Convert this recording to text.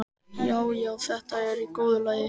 Já, já, þetta er í góðu lagi.